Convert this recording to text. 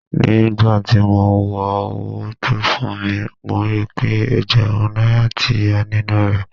Ní gbà ti mo wo owó tó fún mi, mo rí pé Ẹ̀gbẹ̀rún náírà tí yá nínú rẹ́.